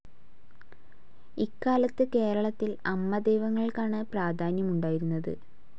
ഇക്കാലത്ത് കേരളത്തിൽ അമ്മദൈവങ്ങൾക്കാണ് പ്രാധാന്യമുണ്ടായിരുന്നത്.